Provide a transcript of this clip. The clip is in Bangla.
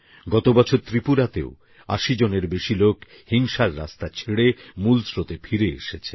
গত বছর ত্রিপুরাতেও ৮০ জনের বেশি লোক হিংসার রাস্তা ছেড়ে মূল স্রোতে ফিরে এসেছেন